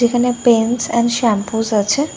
যেখানে pens and shampoos আছে ।